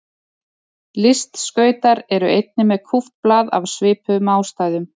Listskautar eru einnig með kúpt blað af svipuðum ástæðum.